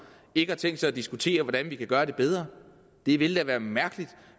ikke har tænkt sig at diskutere hvordan vi kan gøre det bedre det ville da være mærkeligt